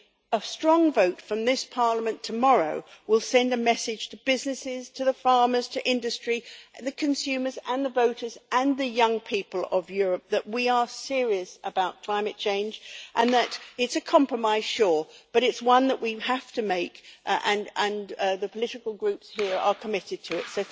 A strong vote from this Parliament tomorrow will send a message to businesses, to farmers, to industry, to consumers, and to voters and the young people of Europe that we are serious about climate change. It is a compromise, sure, but it is one that we have to make and the political groups here are committed to it.